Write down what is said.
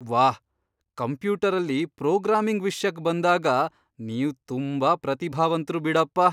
ವಾಹ್! ಕಂಪ್ಯೂಟರಲ್ಲಿ ಪ್ರೋಗ್ರಾಮಿಂಗ್ ವಿಷ್ಯಕ್ ಬಂದಾಗ ನೀವ್ ತುಂಬಾ ಪ್ರತಿಭಾವಂತ್ರು ಬಿಡಪ್ಪ!